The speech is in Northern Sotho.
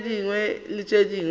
tše dingwe le tše dingwe